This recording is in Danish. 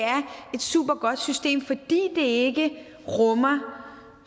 et supergodt system fordi det ikke rummer